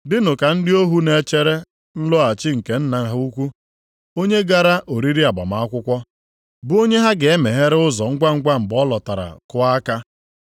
Dịnụ ka ndị ohu na-echere nlọghachi nke nna ha ukwu, onye gara oriri agbamakwụkwọ, bụ onye ha ga-emeghere ụzọ ngwangwa mgbe ọ lọtara kụọ aka.